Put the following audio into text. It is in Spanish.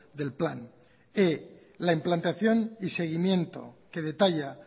del plan e la implantación y seguimiento que detalla